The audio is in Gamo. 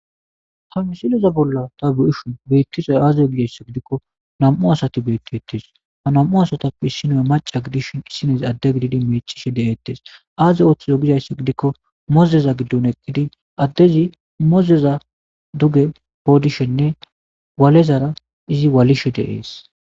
Hamsileza bolla ta bu7ishun beittisoy aazizo gizayssa gidikko nam7u asati beetti ettees ha nam7u asatappe issinoe maca gidishn issinezi adde gididi meechishe de7eettes aaze ooththizo gizayssa gidikko mozeza giddon eqqidi addezi mozeza duge poodishenne walezara izi walishe deees